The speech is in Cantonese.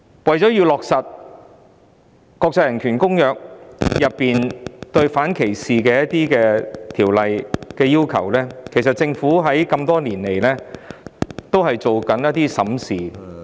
為了落實國際人權公約中有關反歧視的一些要求，政府多年來審視......